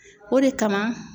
O de kama.